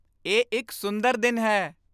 ਇਹ ਇੱਕ ਸੁੰਦਰ ਦਿਨ ਹੈ